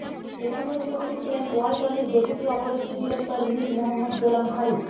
এ সময় উপস্থিত ছিলেন ওয়ালটনের deputy operative director Mir Mohammad Golam Faruk